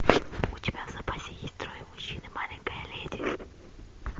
у тебя в запасе есть трое мужчин и маленькая леди